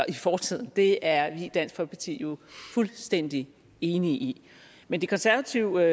i fortiden det er vi i dansk folkeparti jo fuldstændig enige i men det konservative